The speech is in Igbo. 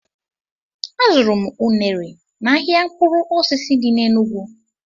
Azụrụ m unere n' ahịa mkpụrụ osisi dị n' Enugwu